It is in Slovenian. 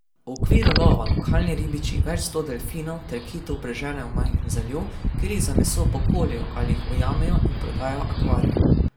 V okviru lova lokalni ribiči več sto delfinov ter kitov preženejo v majhen zaliv, kjer jih za meso pokoljejo ali jih ujamejo in prodajo akvarijem.